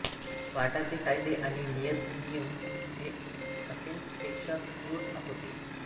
स्पार्टाचे कायदे आणि नीतिनियम हे अथेन्सपेक्षा क्रूर होते